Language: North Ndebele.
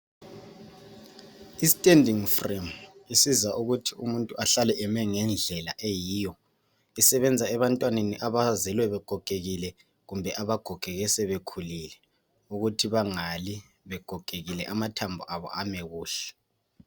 I standing frame isiza ukuthi umuntu ahlale eme ngendlela eyiyo isebenza ebantwaneni abazelwe begogekile kumbe abagogeke sebekhulile ukuthi bangali begogekile amathambo abo ame kuhle.